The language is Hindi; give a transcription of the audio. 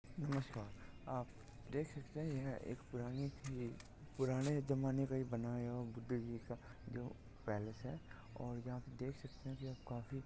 नमस्कार आप देख सकते है यह एक पुरानी सी पुराने जमाने का बनाया हुआ बुद्ध जिका जो पालेस है और यहा पे देख सकते है की काफी --